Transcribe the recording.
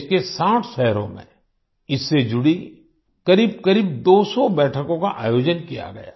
देश के 60 शहरों में इससे जुड़ी करीबकरीब 200 बैठकों का आयोजन किया गया